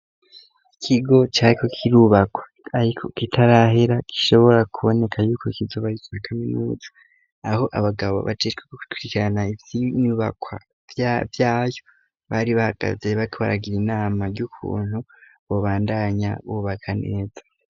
Ikigo cariko kirubakwa ariko kitarahera gishobora kuboneka yuko kizoba citwa kaminuza, aho abagabo bajejwe gukwirikirana ivy'iyo nyubakwa vyayo bari bahagaze ,bariko baragir' inama ry'ukuntu bubandanya bubaka neza.